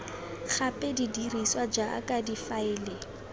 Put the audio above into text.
gape di dirisiwa jaaka difaele